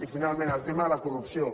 i finalment el tema de la corrupció